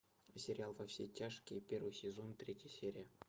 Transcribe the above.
сериал во все тяжкие первый сезон третья серия